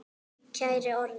Kæri Orri.